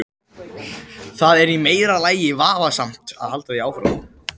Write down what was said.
Það er í meira lagi vafasamt að halda því fram.